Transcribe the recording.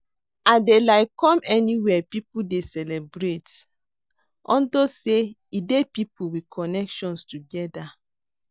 I dey like come anywhere people dey celebrate unto say e dey people with connections together